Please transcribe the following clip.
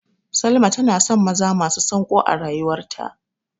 Salma tana son maza masu sanƙo a rayuwarta.